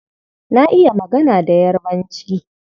Na iya magana da Yarbanci.